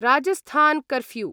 Rajasthan curfew